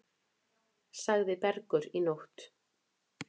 Sagði Bergur í nótt.